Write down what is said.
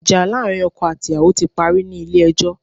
Ìjà láàrin ọkọ àti ìyàwó ti parí ní Ilé ẹjọ́